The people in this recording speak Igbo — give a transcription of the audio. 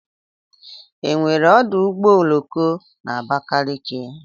Enwere ọdụ ụgbọ oloko na Abakaliki?